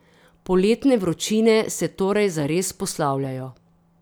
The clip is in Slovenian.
Poletne vročine se torej zares poslavljajo.